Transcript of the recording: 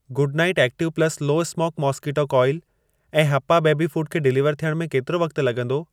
Good night active plus low smoke mosquito coil ऐं हप्पा baby food खे deliver थियण में केतिरो वक्त लॻंदो?